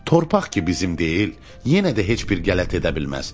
Torpaq ki bizim deyil, yenə də heç bir qələt edə bilməz.